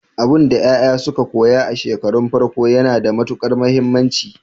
Abinda yaya suka koya a shekarun farko yana da matukar muhimmanci.